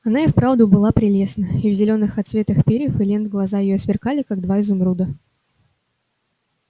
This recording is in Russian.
она и вправду была прелестна и в зелёных отсветах перьев и лент глаза её сверкали как два изумруда